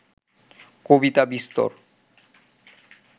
কবিতা বিস্তর